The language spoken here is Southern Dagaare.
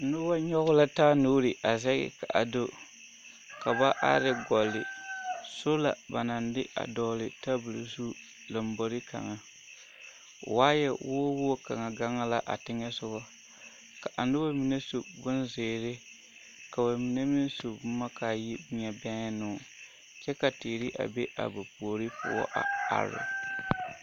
Noba nyɔge la taa nuuri a zɛge ka a do ka ba are gɔlle sola ba naŋ de a dɔgele tabol zu lombori kaŋa waayɛ wogi wogi kaŋa gaŋ la a teŋɛsogɔ ka a noba mine su bonzeere ka bamine meŋ su boma k'a yi ŋa bɛŋenoo kyɛ ka teere a be a ba puori poɔ a are.